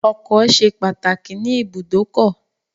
Ọkọ̀ ṣe pàtàkì ní ìbùdókọ̀.